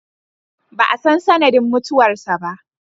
Ba a san sanadin mutuwar sa ba.